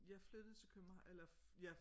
Jeg flyttede til København eller ja